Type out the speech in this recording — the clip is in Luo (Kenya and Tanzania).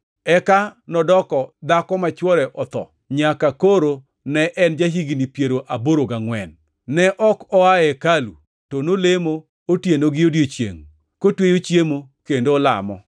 eka nodoko dhako ma chwore otho nyaka koro ne en ja-higni piero aboro gangʼwen. Ne ok oa e hekalu to nolemo otieno gi odiechiengʼ, kotweyo chiemo kendo olamo.